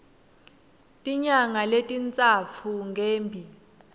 tinyanga letintsatfu ngembi